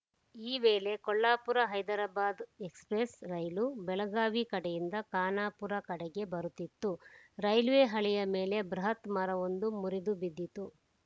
ಈ ವೇಳೆ Kolhapur Hyderabad Express rail Belagavi ಕಡೆಯಿಂದ ಖಾನಾಪುರ ಕಡೆಗೆ ಬರುತ್ತಿತ್ತು ರೈಲ್ವೆ ಹಳಿಯ ಮೇಲೆ ಬೃಹತ್‌ ಮರವೊಂದು ಮುರಿದು ಬಿದ್ದಿತ್ತು